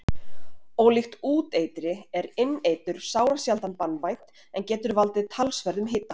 Ólíkt úteitri er inneitur sárasjaldan banvænt en getur valdið talsverðum hita.